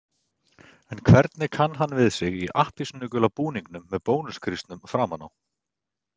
En hvernig kann hann við sig í appelsínugula búningnum með Bónus-grísnum framan á?